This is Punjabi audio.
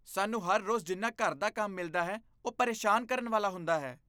ਸਾਨੂੰ ਹਰ ਰੋਜ਼ ਜਿੰਨਾ ਘਰ ਦਾ ਕੰਮ ਮਿਲਦਾ ਹੈ, ਉਹ ਪਰੇਸ਼ਾਨ ਕਰਨ ਵਾਲਾ ਹੁੰਦਾ ਹੈ।